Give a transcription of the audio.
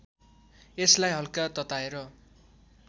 यसलाई हल्का तताएर